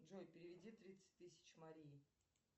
джой переведи тридцать тысяч марии